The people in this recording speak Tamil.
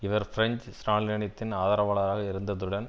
இவர் பிரென்ஞ்சு ஸ்ராலினினதின் ஆதரவாளராக இருந்ததுடன்